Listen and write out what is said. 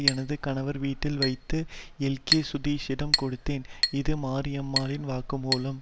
எனது கணவர் வீட்டில் வைத்து எல்கே சுதீஷிடம் கொடுத்தேன் இது மாரியம்மாளின் வாக்குமூலம்